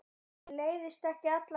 Mér leiðist ekki alla jafna.